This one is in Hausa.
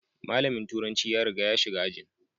Malamin turanci ya riga ya shiga ajin.